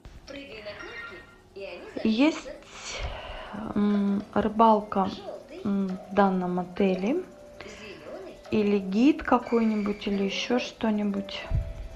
есть рыбалка в данном отеле или гид какой нибудь или еще что нибудь